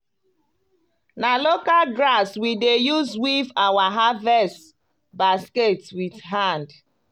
na local grass we dey use weave our harvest basket with hand.